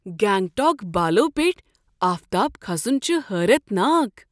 گنگٹوک بالو پیٹھۍ آفتاب کھسن چھُ حیرتناک۔